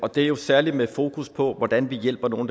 det er jo særlig med fokus på hvordan vi hjælper nogle